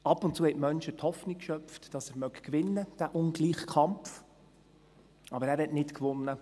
Ab und zu schöpften die Menschen Hoffnung, dass er diesen ungleichen Kampf gewinnen möge, aber er gewann nicht.